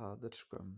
það er skömm.